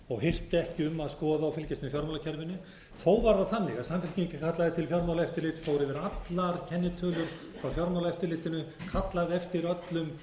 og hirti ekki um að skoða og fylgjast með fjármálakerfinu þó var það þannig að samfylkingin kallaði til fjármaáeftirlitið og fór yfir allar kennitölur hjá fjármálaeftirlitinu kallaði eftir öllum